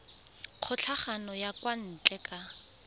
kgokagano ya kwa ntle ka